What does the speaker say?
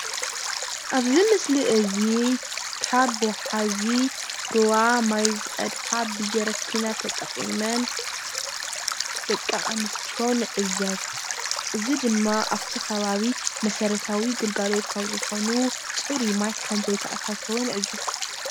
ኣብዚ ምስሊ እዚ ካብ ወሓዚ ሩባ ማይ ዝቐድሓ ብጀሪክና ተጠቂመን ደቂ ኣንእስትዮ ንዕዘብ። እዚ ድማ ኣብቲ ኸባቢ መሰረታዊ ግልጋሎት ካብ ዝኾኑ ፅሩይ ማይ ከምዘይተኣታተወ ንዕዘብ።